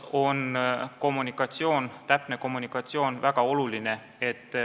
Täpne kommunikatsioon on väga oluline.